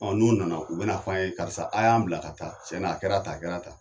Ɔ N'o nana u bɛn'a f'an ye karisa a y'an bila ka ta cɛna a kɛra tan a kɛra tan